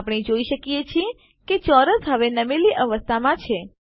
આપણે જોઈ શકીએ છીએ કે ચોરસ હવે નમેલી અવસ્થામાં છે